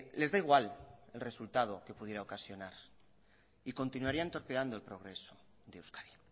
les da igual el resultado que pudiera ocasionar y continuarían torpeando el progreso de euskadi